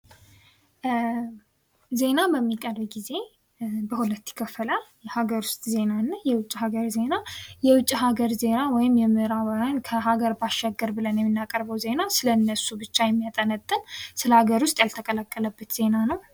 ዜና በሚቀርብ ጊዜ በሁለት ይከፈላል ። የሀገር ውስጥ ዜና እና የውጭ ሀገር ዜና ። የውጭ ሀገር ዜና ወይም የምእራባውያን ከሀገር ባሻገር ብለን የምናቀርበው ዜና ስለእነሱ ብቻ የሚያጠነጥን ስለሀገር ውስጥ ያልተቀላቀለበት ዜና ነው ።